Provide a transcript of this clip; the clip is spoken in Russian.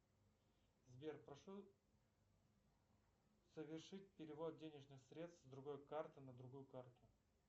сбер прошу совершить перевод денежных средств с другой карты на другую карту